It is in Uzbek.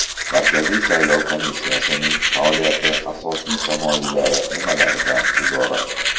Markaziy saylov komissiyasining faoliyati asosiy tamoyillari nimalardan iborat?.